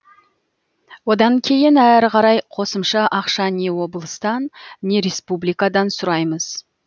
одан кейін әрі қарай қосымша ақша не облыстан не республикадан сұраймыз